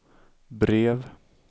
brev